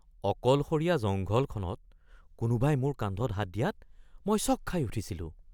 অকলশৰীয়া জংঘলখনত কোনোবাই মোৰ কান্ধত হাত দিয়াত মই চঁক খাই উঠিছিলোঁ।